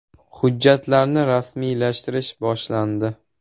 “Hujjatlarni rasmiylashtirish boshlandi.